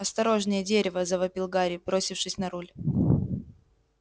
осторожнее дерево завопил гарри бросившись на руль